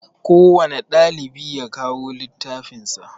Kowanne ɗalibi ya kawo littafin sa